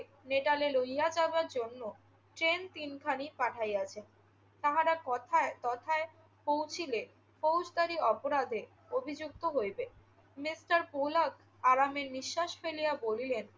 নেটালে লইয়া যাইবার জন্য ট্রেন তিনখানি পাঠাইয়াছেন। তাহারা তথায়~ তথায় পৌঁছিলে ফৌজদারি অপরাধে অভিযুক্ত হইবে। মিস্টার পোলক আরামে নিঃশ্বাস ফেলিয়া বলিলেন,